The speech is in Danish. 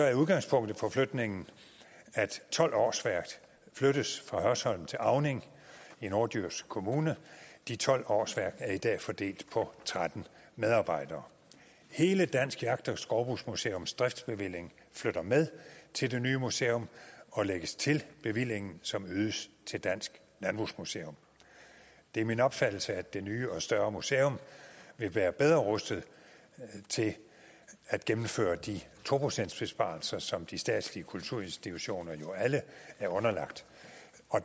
er udgangspunktet for flytningen at tolv årsværk flyttes fra hørsholm til auning i norddjurs kommune de tolv årsværk er i dag fordelt på tretten medarbejdere hele dansk jagt og skovbrugsmuseums driftsbevilling flytter med til det nye museum og lægges til bevillingen som øges til dansk landbrugsmuseum det er min opfattelse at det nye og større museum vil være bedre rustet til at gennemføre de to procentsbesparelser som de statslige kulturinstitutioner jo alle er underlagt